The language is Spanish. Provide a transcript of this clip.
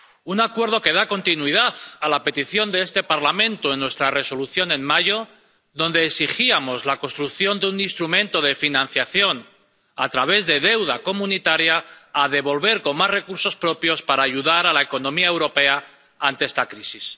Un acuerdo que da continuidad a la petición de este Parlamento en nuestra Resolución de mayo, en la que exigíamos la creación de un instrumento de financiación a través de deuda comunitaria a devolver con más recursos propios para ayudar a la economía europea ante esta crisis.